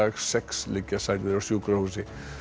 sex liggja særðir á sjúkrahúsi